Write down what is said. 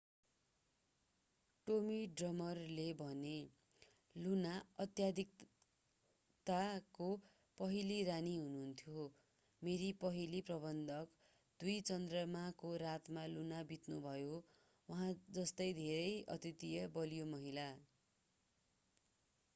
Tommy ड्रिमरले भने Luna अत्यधिकताको पहिली रानी हुनुहुन्थ्यो मेरी पहिली प्रबन्धक दुई चन्द्रमाको रातमा लुना बित्नुभयो उहाँ जस्तै धेरै अद्वितीय बलियी महिला